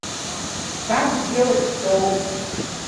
как сделать стол